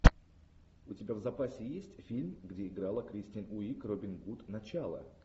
у тебя в запасе есть фильм где играла кристен уиг робин гуд начало